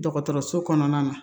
Dɔgɔtɔrɔso kɔnɔna na